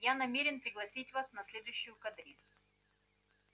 я намерен пригласить вас на следующую кадриль